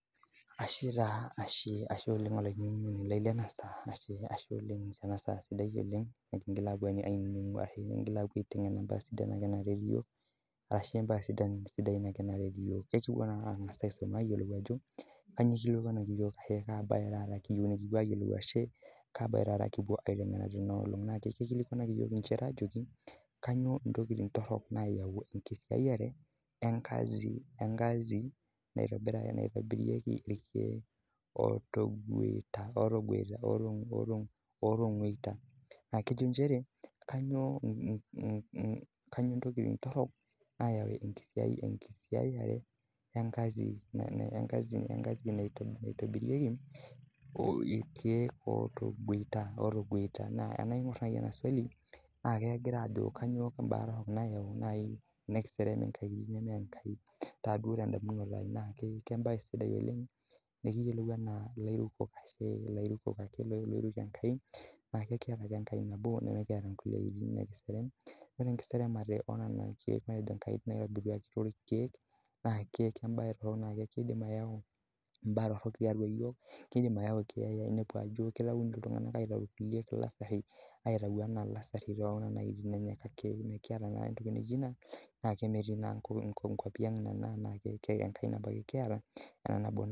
Ashe oleng olainining'oni lai Lena saa kiyieu nikigil apuo aiteng'ena mbaa naretu iyiokel ekipuo ang'as aisuma Ajo kainyio eikilikuanaki iyiok ashu Kaa mbae taa kiyiu nipuo ayiolou ashu Kaa mbae kipuo aikilikua Tena olong eikilikuanaki iyiok njere ajoki kainyio ntokitin torok nayau enkajit naitobirieki irkeek otonguit naa kejo njere kainyio ntokitin torok nayau enkajit naitobirieki irkeek otonguita naa tenaing'or naaji ena swali naa kegira Ajo kainyio naaji tenikiserem nkatitin neme Enkai naaji teduata ai naa mbae sidai oleng ekiyiolou ena ilairukok oiruko enkai neeku ekiata ake enkai nabo nimikiata kulie aitin nikiserem ore kulie seremata nkatitin naitobiruaki too irkeek naa mbae naa kidim ayau mbaa torok tiatua iyiok kidim ayau keeya enepu atau elasari naa metii naa nkwapii ang Nena enkai ake nabo kiata